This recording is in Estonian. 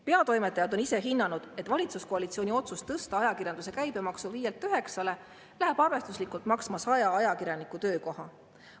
Peatoimetajad on ise hinnanud, et valitsuskoalitsiooni otsus tõsta ajakirjanduse käibemaksu viielt üheksale läheb arvestuslikult maksma saja ajakirjaniku töökoha.